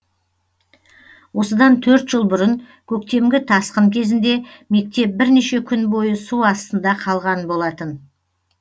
осыдан төрт жыл бұрын көктемгі тасқын кезінде мектеп бірнеше күн бойы су астында қалған болатын